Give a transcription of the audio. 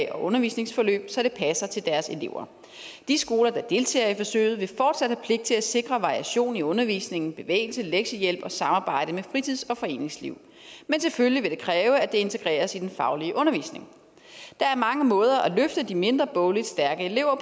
og undervisningsforløb så det passer til deres elever de skoler der deltager i forsøget vil fortsat have pligt til at sikre variation i undervisningen bevægelse lektiehjælp og samarbejde med fritids og foreningsliv men selvfølgelig vil det kræve at det integreres i den faglige undervisning der er mange måder at løfte de mindre bogligt stærke elever